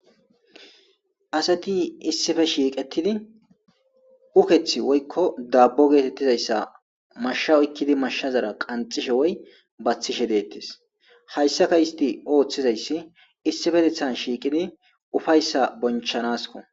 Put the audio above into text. Asati issipe shiiqettidi ukethi woykko daabbo geetettizayssa mashsha oykkidi mashshazara qanxishe woy baththishe deettes.hayssaka izeti oothizayssi issipetethan shiiqidi ufayssan booncha naasikko.